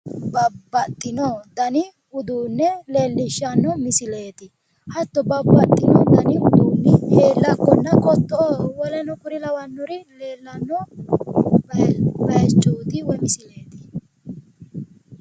babbaxxino dani uduunne leellishshsanno misileeti, hatto babbaxxino dani uduunne heellaakkonna qotto"oo woleno kuri lawannori leellanno baayiichooti woyi misileeti.